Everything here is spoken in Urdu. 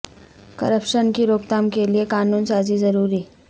کرپشن کی روک تھام کے لیے قانون سازی ضروری